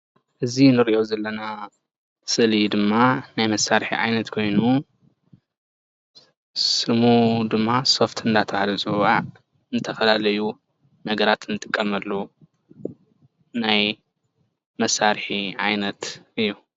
እዚ ንሪኦ ዘለና ምስሊ ድማ ናይ መሳርሒ ዓይነት ኮይኑ ስሙ ድማ ሶፍት እናተብሃለ ዝፅዋዕ ንዝተፈላለዪ ነገራት እንጥቀመሉ ናይ መሳርሒ ዓይነት እዪ::